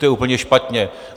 To je úplně špatně.